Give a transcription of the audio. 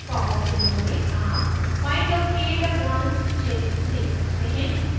popअप window में आप find or create a branch क्षेत्र देख सकते हैं